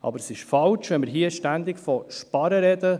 Aber es ist falsch, ständig von sparen zu sprechen.